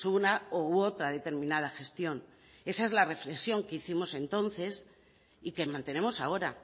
una u otra determinada gestión esa es la reflexión que hicimos entonces y que mantenemos ahora